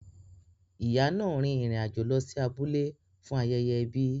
Ìyá náà rin ìrìn àjò lọ sí abúlé fún ayẹyẹ ẹbi.